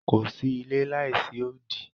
Ko sí ìlẹ̀ láìsí òdì.